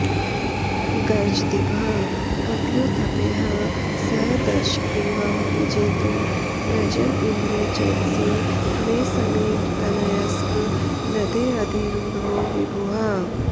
गर्जद्भिः कपियूथपैः सह दशग्रीवं विजेतुं व्रजन् इन्द्रे चेतसि मे समीरतनयस्कन्धेऽधिरूढो विभुः